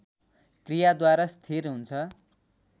क्रियाद्वारा स्थिर हुन्छ